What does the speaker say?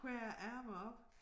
Høje æ ærmer op